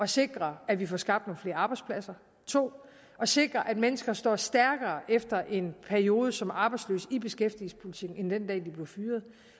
sikre at vi får skabt flere arbejdspladser 2 at sikre at mennesker står stærkere efter en periode som arbejdsløse i beskæftigelsespolitikken end den dag de blev fyret